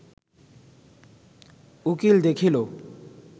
উকীল দেখিল